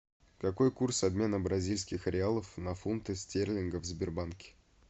какой курс обмена бразильских реалов на фунты стерлингов в сбербанке